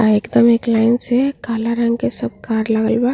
एकदम एक लाइन से काला रंग के कार लगल बा।